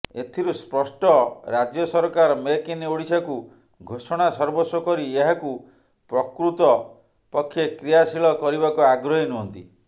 ଏଥିରୁ ସ୍ପଷ୍ଟ ରାଜ୍ୟସରକାର ମେକ୍ ଇନ୍ ଓଡ଼ିଶାକୁ ଘୋଷଣା ସର୍ବସ୍ୱକରି ଏହାକୁ ପ୍ରକୃତ ପକ୍ଷେକ୍ରିୟାଶୀଳ କରିବାକୁ ଆଗ୍ରହୀ ନୁହଁନ୍ତି